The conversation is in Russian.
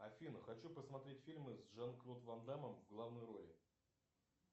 афина хочу посмотреть фильмы с жан клод ван даммом в главной роли